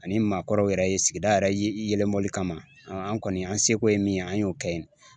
Ani maakɔrɔw yɛrɛ ye sigida yɛrɛ ye yɛlɛmɔli kama. an kɔni an se ko ye min ye an y'o kɛ yen.